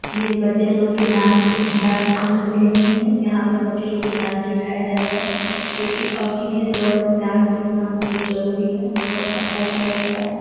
ये बच्चे लोग के डांस डांस एकेडमी है यहां पे बच्चे लोग के डांस सिखाया जाता है जो कि अभी के दौर मे डांस सिखना बहुत जरुरी है और अच्छा भी लगता है।